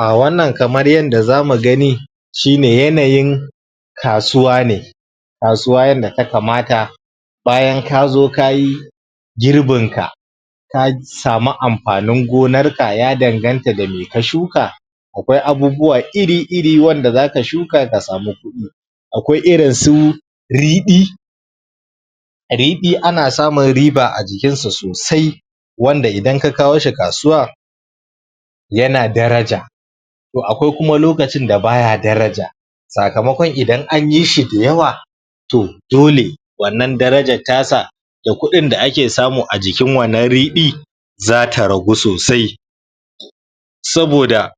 A wannan kamar yadda zamu gani shi ne yanayin kasuwa ne kasuwa yadda ta kamata bayan kazo ka yi girbin ka ka samu amfanin gonar ka ya danganta da me ka shuka akwai abubuwa iri-iri wanda zaka shuka ka samu kuɗi akwai irin su riɗi, riɗi ana samun riba a jikin sa sosai wanda idan ka kawo shi kasuwa yana daraja to akwai kuma lokacin da baya daraja sakamakon idan an yi shi da yawa to dole wannan darajar ta sa da kuɗin da ake samu a jikin wannan riɗi zata ragu sosai saboda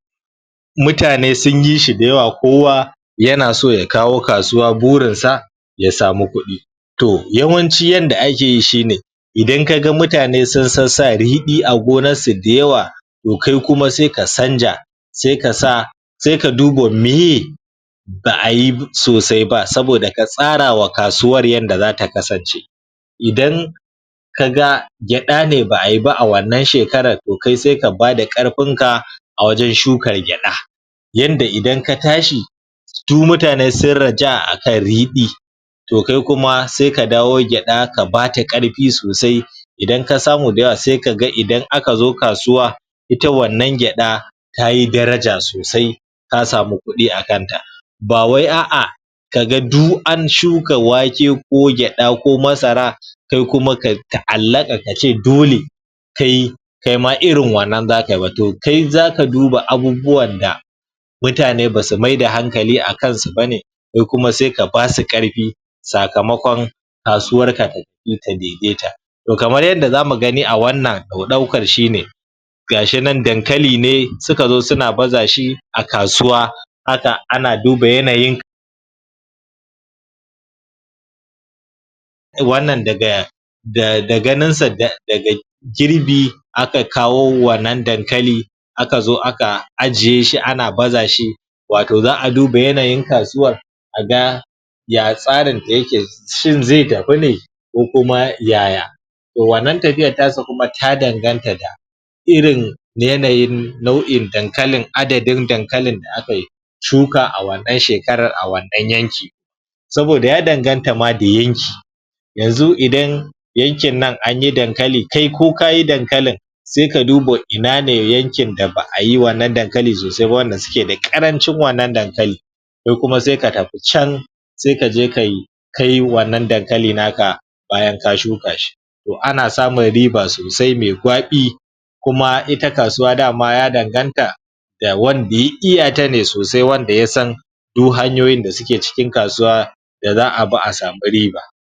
mutane sun yi shi da yawa, kowa yana so ya kawo kasuwa, burin sa ya samu kuɗi to yawanci yanda ake yi shi ne idan kaga mutane sun sassa riɗi a gonan su da yawa to kai kuma sai ka canza sai ka sa, sai ka duba miye ba'a yi sosai ba saboda ka tsara wa kasuwar yanda zata kasance idan kaga gyaɗa ne ba'a yi ba a wannan shekarar to kai sai ka bada ƙarfin ka a wajen shukar gyaɗa yanda idan ka tashi du mutane sun raja'a a kan riɗi to kai kuma sai ka dawo gyaɗa ka bata ƙarfi sosai idan ka samu da yawa sai kaga idan aka zo kasuwa ita wannan gyaɗa tayi daraja sosai ka samu kuɗi a kan ta ba wai a'a kaga du an shuka wake ko gyaɗa ko masara kai kuma ka ta'allaka ka ce dole kai kai ma irin wannan zaka yi ba, to kai zaka duba abubuwan da mutane basu maida hankali akan su bane kai kuma sai ka basu ƙarfi sakamakon kasuwar ka ta daidaita to kamar yanda zamu gani a wannan ɗaukar shine ga shi nan dankali ne suka zo suna baza shi a kasuwa haka ana duba yanayin wannan daga da da ganin sa da girbi aka kawo wannan dankali aka zo aka ajiye shi ana baza shi wato za'a duba yanayin kasuwar a ga ya tsarin ta yake shin ze tafi ne ko kuma yaya to wannan tafiyar ta sa kuma ta danganta da irin yanayin nau'in dankalin adadin dankalin da aka yi shuka a wannan shekarar a wannan yanki saboda ya danganta ma da yanki yanzu idan yankin nan an yi dankali kai ko kayi dankalin sai ka duba ina ne yankin da ba'a yi wannan dankali sosai ba wanda suke da ƙarancin wannan dankali kai kuma sai ka tafi can sai ka je kai kayi wannan dankali naka bayan ka shuka shi to ana samun riba sosai me gwaɓi kuma ita kasuwa dama ya danganta ya wanda ya iya ta ne sosai wanda ya san du hanyoyin da suke cikin kasuwa da za'a bi a samu riba.